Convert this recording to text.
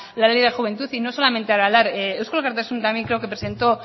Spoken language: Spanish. la ley de juventud y no solamente aralar eusko alkartasuna también creo que presentó